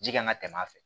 Ji kan ka tɛmɛ a fɛ